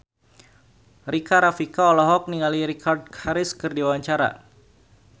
Rika Rafika olohok ningali Richard Harris keur diwawancara